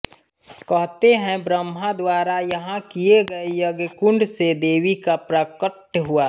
कहते हैं ब्रह्मा द्वारा यहाँ किए गए यज्ञकुण्ड से देवी का प्राकट्य हुआ